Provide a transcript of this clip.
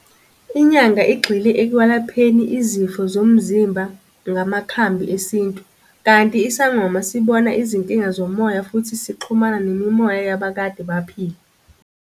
Inyanga igxile ekwelapheni izifo zomzimba ngamakhambi esintu, kanti isangoma sibona izinkinga zomoya futhi sixhumana nemimoya yabakade baphila.